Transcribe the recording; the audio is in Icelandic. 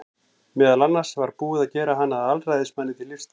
Meðal annars var búið að gera hann að alræðismanni til lífstíðar.